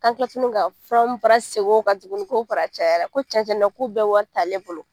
An kila tukuni ka fura fana sekin o kan tukuni ko fara cayara. Ko cɛn cɛn na ko bɛɛ wari t'ale bolo.